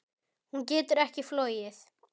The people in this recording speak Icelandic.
Hún getur ekki flogið.